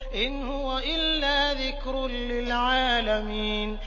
إِنْ هُوَ إِلَّا ذِكْرٌ لِّلْعَالَمِينَ